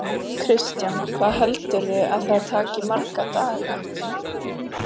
Kristján: Hvað heldurðu að það taki marga daga?